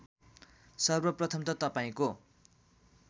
सर्वप्रथम त तपाईँको